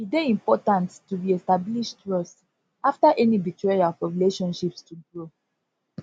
e dey important to reestablish trust after any betrayal for relationships to grow